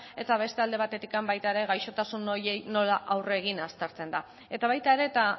eta beste alde batetik baita ere gaixotasun horiei nola aurre egin aztertzen da eta baita ere eta